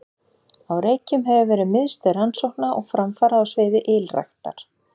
Á Reykjum hefur verið miðstöð rannsókna og framfara á sviði ylræktar.